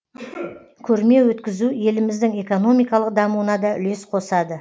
көрме өткізу еліміздің экономикалық дамуына да үлес косады